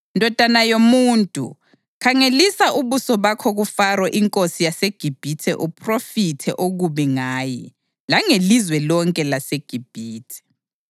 “Ndodana yomuntu, khangelisa ubuso bakho kuFaro inkosi yaseGibhithe uphrofithe okubi ngaye langelizwe lonke laseGibhithe.